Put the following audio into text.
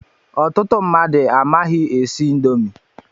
Ọtụtụ mmadụ amaghị esi indomi